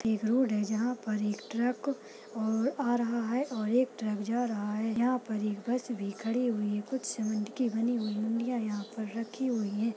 एक रोड है जहां पर एक ट्रक औ-आ रहा है और एक ट्रक जा रहा है। यहाँं पर एक बस भी खड़ी हुई है। कुछ सीमेंट की बनी हुई मुंड़िया यहाँं पर रखी हुई है।